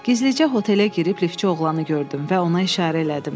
Gizlicə hotelə girib liftçi oğlanı gördüm və ona işarə elədim.